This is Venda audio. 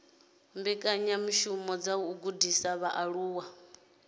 mbekanyamishumo dza u gudisa vhaaluwa